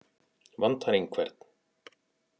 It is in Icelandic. Vantar einhvern?